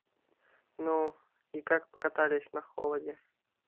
ну и как покатались на холоде